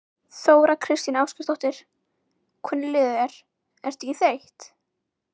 Þóra Kristín Ásgeirsdóttir: Hvernig líður þér, ertu ekki þreytt?